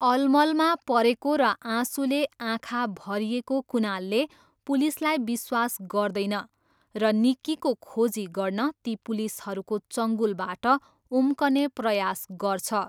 अलमलमा परेको र आँसुले आँखा भरिएको कुनालले पुलिसलाई विश्वास गर्दैन र निक्कीको खोजी गर्न ती पुलिसहरूको चङ्गुलबाट उम्कने प्रयास गर्छ।